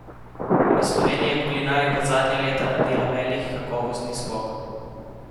V Sloveniji je kulinarika zadnja leta naredila velik kakovostni skok.